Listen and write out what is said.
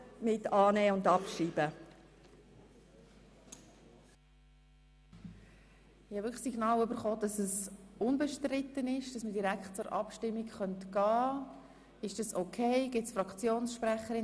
Ich habe das Signal erhalten, dass dieser Antrag unbestritten ist, und wir direkt zur Abstimmung kommen können.